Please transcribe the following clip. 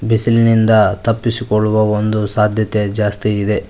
ಬಿಸಿಲಿನಿಂದ ತಪ್ಪಿಸಿಕೊಳ್ಳುವ ಒಂದು ಸಾಧ್ಯತೆ ಜಾಸ್ತಿ ಇದೆ.